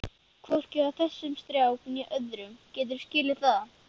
HVORKI HJÁ ÞESSUM STRÁK NÉ ÖÐRUM, GETURÐU SKILIÐ ÞAÐ!